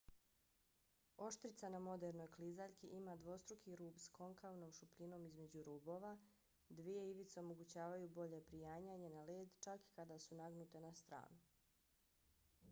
oštrica na modernoj klizaljki ima dvostruki rub s konkavnom šupljinom između rubova. dvije ivice omogućavaju bolje prijanjanje na led čak i kada su nagnute na stranu